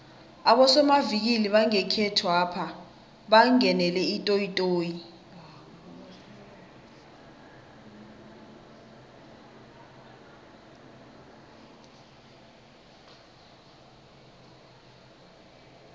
abosomavikili bangekhethwapha bangenele itoyitoyi